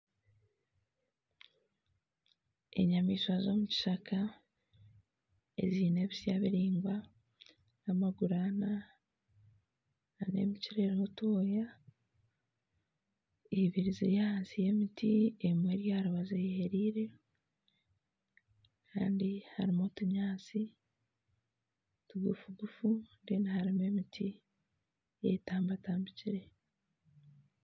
Enyamaishwa z'omukishaka ezine ebitsya biraingwa n'amaguru ana n'emikira eruho otwoya ibiri ziri ahansi y'emiti emwe eri aharubaju eyehereire Kandi harumu otunyantsi tigufugu harumu emiti eyetambatambikire.